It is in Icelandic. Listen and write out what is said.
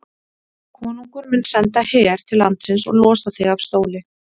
Konungur mun senda her til landsins og losa þig af stóli.